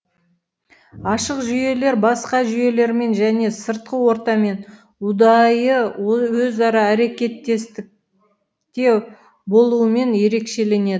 ашық жүйелер басқа жүйелермен және сыртқы ортамен ұдайы өзара әрекеттестікте болуымен ерекшеленеді